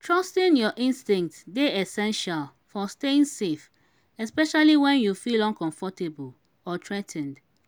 trusting your instincts dey essential for staying safe especially when you feel uncomfortable or threa ten ed.